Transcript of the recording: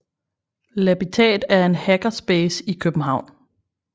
Labitat er et hackerspace i København